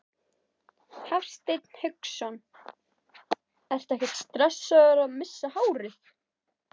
Hafsteinn Hauksson: Ertu ekkert stressaður að missa hárið?